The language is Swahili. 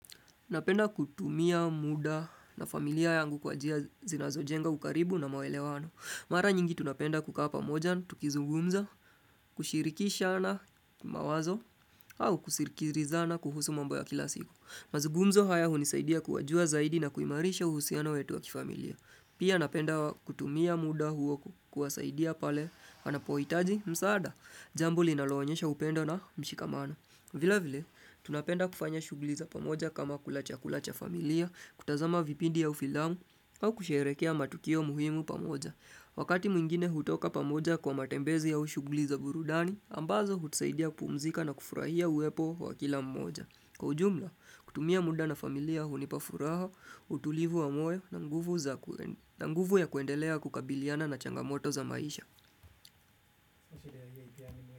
Napenda kutumia muda na familia yangu kwa njia zinazo jenga ukaribu na mawelewano. Mara nyingi tunapenda kukaa moja, tukizugumza, kushirikisha na mawazo, au kusirikiriza na kuhusu mambo ya kila siku. Mazugumzo haya hunisaidia kuwajua zaidi na kuimarisha uhusiana wetu wa kifamilia. Pia napenda kutumia muda huo kuwasaidia pale, anapoitaji, msaada, jambo linaloonesha upendo na mushikamano. Vila vile, tunapenda kufanya shugliza pamoja kama kula chakula familia, kutazama vipindi ya ufilamu, au kusherekea matukio muhimu pamoja. Wakati mwingine hutoka pamoja kwa matembezi ya ushugliza burudani, ambazo hutusaidia kupumzika na kufurahia uwepo wa kila mmoja. Kwa ujumla, kutumia muda na familia hunipafuraha, utulivu wa moyo na nguvu ya kuendelea kukabiliana na changamoto za maisha.